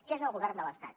que és el govern de l’estat